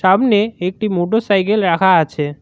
সামনে একটি motorcycle রাখা আছে।